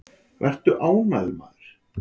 Vertu ánægður, maður!